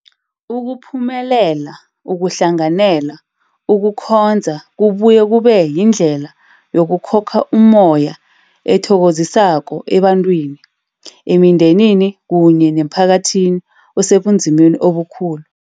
Ukuphumelela ukuhlanganela ukukhonza kubuye kube yindlela yokukhokha ummoya ethokozisako ebantwini, emindenini kunye nemphakathini osebunzimeni obukhulu.